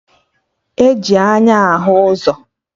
E ji anya ahụ ụzọ